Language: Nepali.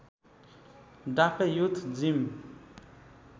Dafe youth gym